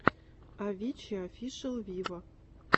авичи офишел виво